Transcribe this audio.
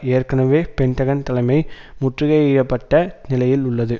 ஏற்கனவே பென்டகன் தலைமை முற்றுகையிடப்பட்ட நிலையில் உள்ளது